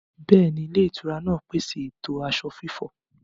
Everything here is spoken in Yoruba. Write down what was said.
Bẹ́ẹ̀ni, ilé-ìtura náà ń pèsè ètò aṣọ fífọ̀.